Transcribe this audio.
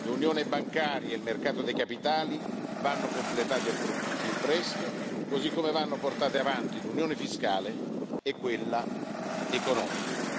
l'unione bancaria e il mercato dei capitali vanno completati al più presto, così come vanno portate avanti l'unione fiscale e quella economica.